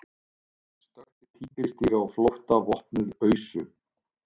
Stökkti tígrisdýri á flótta vopnuð ausu